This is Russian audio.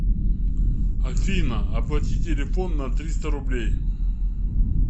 афина оплати телефон на триста рублей